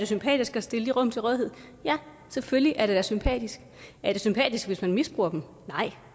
sympatisk at stille de rum til rådighed ja selvfølgelig er det da sympatisk er det sympatisk hvis man misbruger dem nej